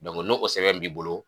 ni o sɛbɛn b'i bolo